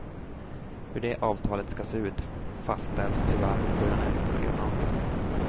Hur det avtalet ska se ut fastställs tyvärr med bajonetter och granater.